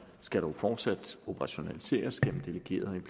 skal dog fortsat operationaliseres gennem delegerede